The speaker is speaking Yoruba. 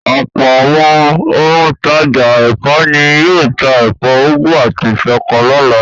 Ọ̀pọ̀ àwọn òǹtajà ẹ̀fọ́ ni yóò ta ẹ̀fọ́ úgú àti ṣọkọ lọ́la.